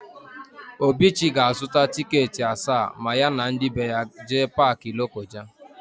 Obichi ga-azụta tịketị asaa ma ya na ndị be ya jee Paakị Lokoja.